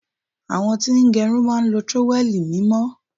Àwọn tí ń gẹrun máa ń lo trówẹ́ẹ̀lì mímọ́.